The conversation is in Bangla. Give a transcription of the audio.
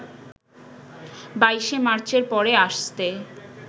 ২২শে মার্চের পরে আসতে